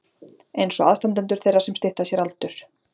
einsog aðstandendur þeirra sem stytta sér aldur.